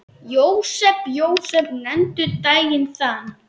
Jósep, Jósep, nefndu daginn þann.